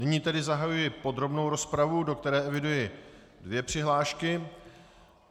Nyní tedy zahajuji podrobnou rozpravu, do které eviduji dvě přihlášky.